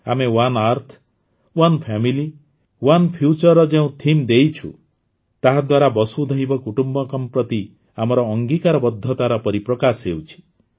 ଆମେ one earth one family one ଫ୍ୟୁଚର୍ର ଯେଉଁ ଥିମ୍ ଦେଇଛୁ ତାହା ଦ୍ୱାରା ବସୁଧୈବ କୁଟୁମ୍ବକମ୍ ପ୍ରତି ଆମର ଅଙ୍ଗୀକାରବଦ୍ଧତାର ପରିପ୍ରକାଶ ହେଉଛି